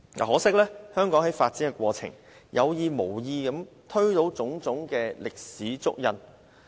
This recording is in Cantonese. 可惜，香港在發展過程中，有意無意地推倒了種種歷史足印。